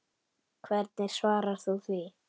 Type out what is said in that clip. Hvernig svarar þú því?